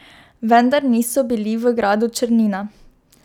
Vendar niso bili v gradu Črnina.